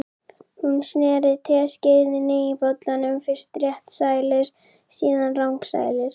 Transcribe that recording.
Hún sneri teskeiðinni í bollanum, fyrst réttsælis, síðan rangsælis.